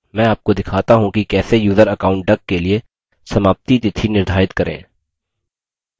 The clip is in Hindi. मैं आपको दिखाता how कि कैसे यूज़र account duck के लिए समाप्ति तिथि निर्धारित करें